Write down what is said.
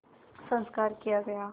संस्कार किया गया